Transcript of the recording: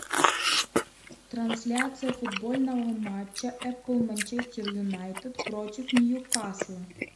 трансляция футбольного матча апл манчестер юнайтед против ньюкасла